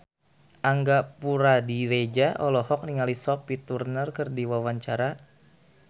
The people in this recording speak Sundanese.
Angga Puradiredja olohok ningali Sophie Turner keur diwawancara